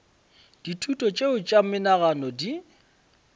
dithuto tšeo tša menagano di